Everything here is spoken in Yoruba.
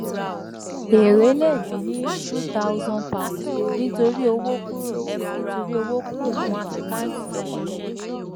èrè le dín ni two thousand pounds nítorí owó kúrò nítorí owó kúrò nínú àkántì èlè.